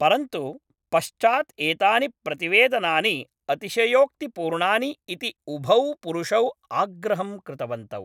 परन्तु, पश्चात् एतानि प्रतिवेदनानि अतिशयोक्तिपूर्णानि इति उभौ पुरुषौ आग्रहं कृतवन्तौ।